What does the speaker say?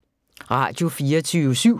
Radio24syv